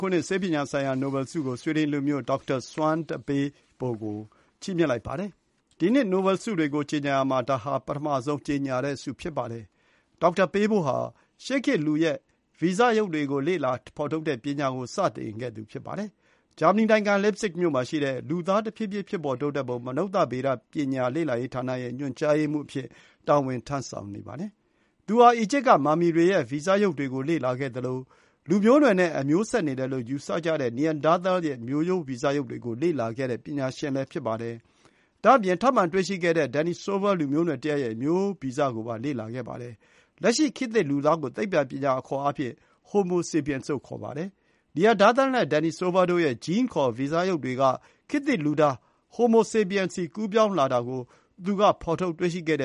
ခုနှစ်ရဲ့ ဆေးပညာဆိုင်ရာနိုဘယ်ဆုကို ဆွီဒင်လူမျိုး ဒေါက်တာ Svante Pääbo (စပန်တီ ပေးဘို) ကို ချီးမြှင့်လိုက်ပါတယ်။ ဒီနှစ်အတွက် နိုဘယ်ဆုတွေကို ကြေညာရာမှာ ဒါဟာ ပထမဆုံး ကြေညာတဲ့ ဆုဖြစ်ပါတယ်။ ဒေါက်တာ ပေးဘိုဟာ ရှေးခေတ် လူရဲ့ဗီဇရုပ်တွေကို လေ့လာဖော်ထုတ်တဲ့ပညာကို စတင်ခဲ့သူ ဖြစ်ပါတယ်။ ဂျာမနီနိုင်ငံ လစ်ပ်ဇစ်မြို့မှာရှိတဲ့ လူသားတဖြည်းဖြည်းပြောင်းလဲပုံ မနုဿဗေဒပညာ လေ့လာရေးဌာနရဲ့ ညွှန်ကြားရေးမှူးအဖြစ် တာဝန်ထမ်းဆောင်နေပါတယ်။ သူဟာ အီဂျစ်ကမာမီတွေရဲ့ ဗီဇရုပ်တွေကိုလေ့လာခဲ့သလို လူမျိုးနွယ်နဲ့ အမျိုးဆက်နေတယ်လို့ ယူဆကြတဲ့ Neanderthal ရဲ့ မျိုးရိုးဗီဇရုပ်တွေကို လေ့လာခဲ့တဲ့ ပညာရှင်ဖြစ်ပါတယ်။ ဒါ့အပြင် ထပ်မံတွေ့ရှိခဲ့တဲ့ Denisova လူမျိုးနွယ်တရပ်ရဲ့ မျိုးရိုးဗီဇကိုပါ လေ့လာခဲ့ပါတယ်။ လက်ရှိ ခေတ်သစ်လူသားကို သိပ္ပံပညာအခေါ်အားဖြင့် Homo sapiens လို့ ခေါ်ပါတယ်။ Neanderthal နဲ့ Denisova တို့ ရဲ့ GENE ခေါ် ဗီဇရုပ်တွေက ခေတ်သစ်လူသား Homo sapiens ဆီ ကူးပြောင်းသွားတာကို သူက ဖော်ထုတ်တွေ့ရှိခဲ့တ